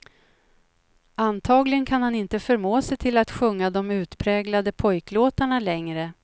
Antagligen kan han inte förmå sig till att sjunga de utpräglade pojklåtarna längre.